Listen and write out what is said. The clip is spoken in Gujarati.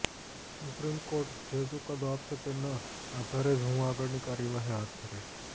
સુપ્રીમ કોર્ટ જે ચુકાદો આપશે તેના આધારે જ હું આગળની કાર્યવાહી હાથ ધરીશ